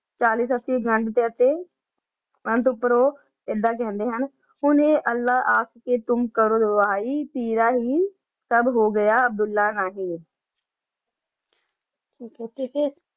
ਉਨਤ ਪ੍ਰੋ ਇਦਾਂ ਕਹਿੰਦੇ ਹਨ ਹੁਣ ਅਲਾਹ ਆਸ ਪਰ ਕਰੋ ਰਵਹਿ ਤੇਰਾਹੈ ਹੋ ਗਯਾ ਸਬ ਅਬ੍ਦੁਲ੍ਲਾਹ ਰਾਹੀ ਕਿਸੇ